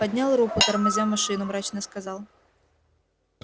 поднял руку тормозя машину мрачно сказал